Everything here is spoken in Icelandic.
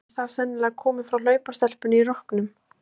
Nafnið er þar sennilega komið frá hlaupastelpunni í rokknum.